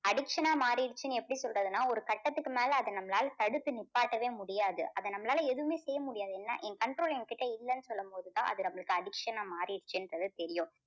addiction ஆ மாறிடுச்சின்னு எப்படி சொல்றதுனா ஒரு கட்டத்துக்கு மேல அதை நம்மளால தடுத்து நிப்பாட்டவே முடியாது. அதை நம்மளால எதுவுமே செய்ய முடியாது. ஏன்னா என் control எங்கிட்ட இல்லன்னு சொல்லும்போது தான் அது நமளுக்கு addiction ஆ மாறிடுச்சின்றது தெரியும்.